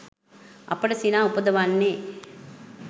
අපට සිනා උපදවන්නේ